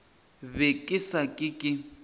be ke sa ke ke